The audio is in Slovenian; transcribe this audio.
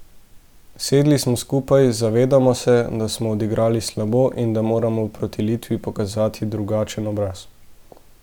Sedli smo skupaj, zavedamo se, da smo odigrali slabo in da moramo proti Litvi pokazati drugačen obraz.